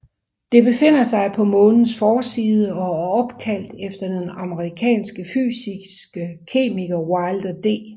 Det befinder sig på Månens forside og er opkaldt efter den amerikanske fysiske kemiker Wilder D